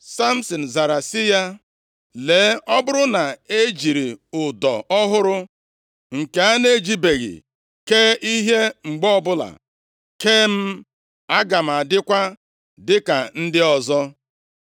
Samsin zara sị ya, “Lee, ọ bụrụ na e jiri ụdọ ọhụrụ nke a na-ejibeghị kee ihe mgbe ọbụla, kee m, aga m adịkwa dịka ndị ọzọ.”